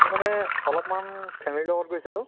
আমি মানে অলপ্মান family লগত গৈছিলো